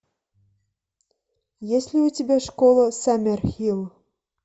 есть ли у тебя школа саммерхилл